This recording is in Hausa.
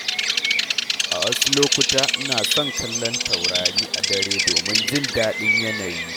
A wasu lokuta, ina son kallon taurari a dare domin jin daɗin yanayi.